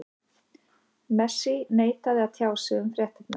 Messi neitaði að tjá sig um fréttirnar.